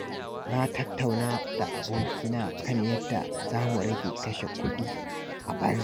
Na tattauna da abokaina kan yadda za mu rage kashe kudi a banza.